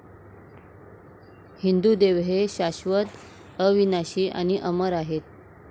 हिंदू देव हे शाश्वत, अविनाशी आणि अमर आहेत.